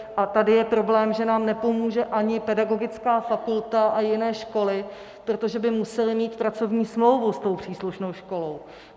A tady je problém, že nám nepomůže ani pedagogické fakulta a jiné školy, protože by musely mít pracovní smlouvu s tou příslušnou školou.